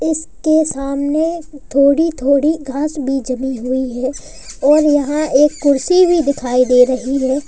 उसके सामने थोड़ी थोड़ी घास भी जमी हुई है और यहां एक कुर्सी भी दिखाई दे रही है।